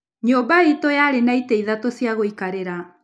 Nyũmba itũ yarĩ na itĩ ithatũ cia gũikarĩra.